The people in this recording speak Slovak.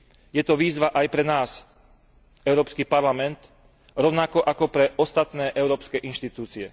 Je to výzva aj pre nás, Európsky parlament, rovnako ako pre ostatné európske inštitúcie.